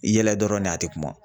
I yɛlɛ dɔrɔn de a te kuma.